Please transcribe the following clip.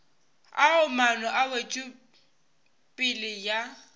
ao maano a wetšopele ya